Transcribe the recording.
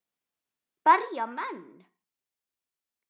Berja menn?